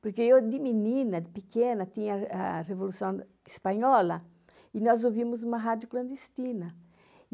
Porque eu, de menina, de pequena, tinha a Revolução Espanhola, e nós ouvimos uma rádio clandestina.